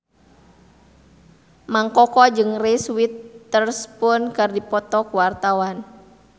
Mang Koko jeung Reese Witherspoon keur dipoto ku wartawan